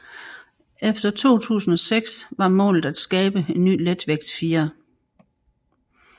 Efter 2006 var målet at skabe en ny letvægtsfirer